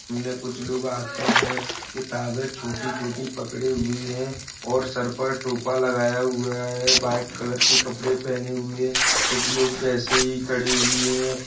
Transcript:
इन मे कुछ लोग हाथों में किताबे छोटी-छोटी पकड़े हुए हैं और सर पर टोपा लगाया हुआ है व्हाइट कलर के कपड़े पहने हुए कुछ लोग वैसे ही खड़े हुए हैं।